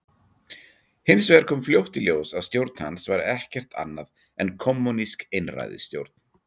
Hins vegar kom fljótt í ljós að stjórn hans var ekkert annað en kommúnísk einræðisstjórn.